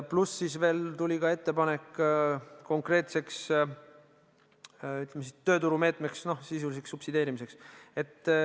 Pluss veel ettepanek rakendada konkreetset tööturumeedet, mis tähendas sisuliselt subsideerimist.